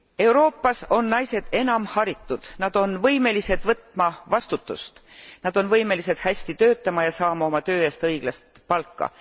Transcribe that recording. Euroopas on naised enamharitud, nad on võimelised võtma vastutust, nad on võimelised hästi töötama ja saama oma töö eest õiglast palka.